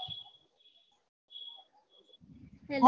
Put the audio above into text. hello